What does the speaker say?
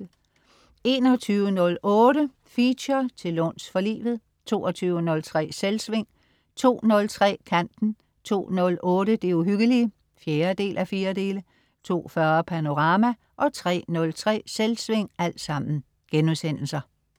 21.08 Feature: Til låns for livet* 22.03 Selvsving* 02.03 Kanten* 02.08 Det uhyggelige 4:4* 02.40 Panorama* 03.03 Selvsving*